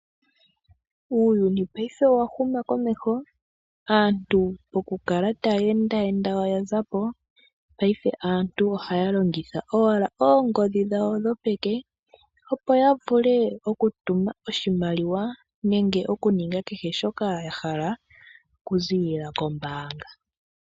Uuyuni payife owahuma komeho aantu pokukala taya enda enda oyaza po, ohaya longitha owala oongodhi dhawo dhopeke opo ya vule okutuma oshimaliwa nenge okuninga kehe shoka ya hala okuziilila kombaanga.